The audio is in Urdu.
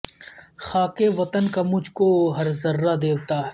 خاک وطن کا مجھ کو ہر ذرہ دیوتا ہے